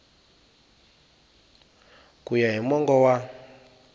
ku ya hi mongo wa